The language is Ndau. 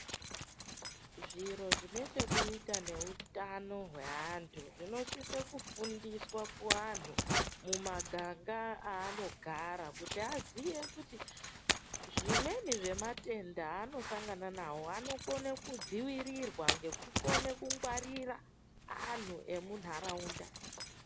Zviro zvine chekuita neutano hweantu zvinosise kufundiswa kuantu mumaganga aanogara kuti aziye kuti zvimweni zvematenda anosangana nawo anokone kudziirirwa nekukone kungwarira anhtu emuntharaunda.